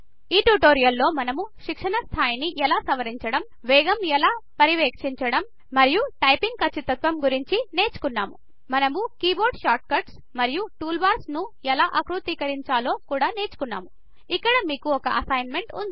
ఈ ట్యుటోరియల్ లో మనము శిక్షణ స్థాయిని ఎలా సవరించడం వేగం ఎలా పర్యవేక్షించడం మరియు టైపింగ్ ఖచ్చితత్వం నేర్చుకున్నాము మనము కీబోర్డ్ షార్ట్ కట్స్ మరియు టూల్బార్లను ఎలా ఆకృతీకరించాలో నేర్చుకున్నాము ఇక్కడ మేకు ఒక అసైన్మెంట్ ఉంది